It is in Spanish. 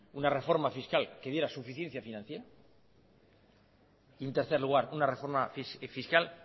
una reforma fiscal que diera suficiencia financiera y en tercer lugar una reforma fiscal